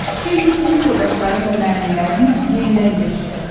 Çünki sinif yoldaşlarım və müəllimlərimlə yenidən görüşürəm.